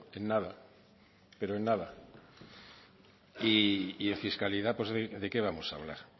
en nada pero en nada y en fiscalidad de qué vamos a hablar